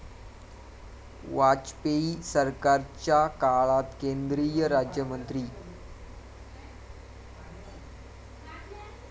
वाजपेयी सरकारच्या काळात केंद्रीय राज्यमंत्री